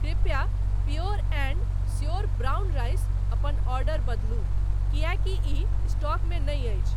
कृपया pure and sure brown rice अपन order बदलू किएकि इ स्टॉक मे नहि अछि।